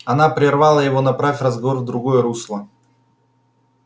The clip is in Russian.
она прервала его направив разговор в другое русло